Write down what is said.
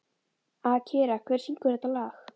Akira, hver syngur þetta lag?